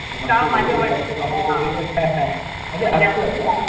का? माझ्या वडिलांनी म्हणजे असतं हां